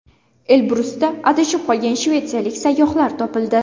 Elbrusda adashib qolgan shvetsiyalik sayyohlar topildi.